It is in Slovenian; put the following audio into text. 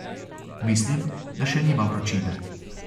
Mislim, da še nima vročine.